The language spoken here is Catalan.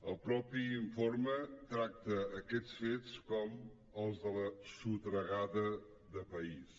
el mateix infor me tracta aquests fets com els de la sotragada de país